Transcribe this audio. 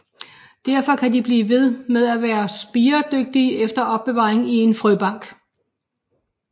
Derfor kan de blive ved med at være spiredygtige efter opbevaring i en frøbank